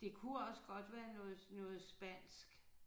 Det kunne også godt være noget noget spansk